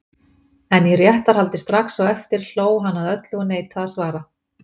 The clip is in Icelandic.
En í réttarhaldi strax á eftir hló hann að öllu og neitaði að svara.